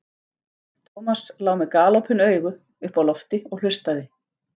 Thomas lá með galopin augu uppi á lofti og hlustaði.